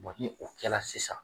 ni o kɛla sisan